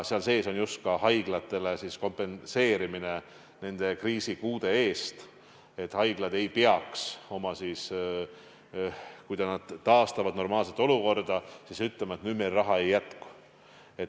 Seal sees on ka haiglate kriisikulude kompenseerimine, et haiglad ei peaks – siis, kui nad taastavad normaalset olukorda – ütlema, et nüüd meil raha ei jätku.